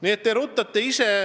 Nii et te ise ruttate.